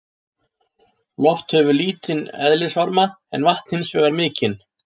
Loft hefur lítinn eðlisvarma en vatn hins vegar mikinn.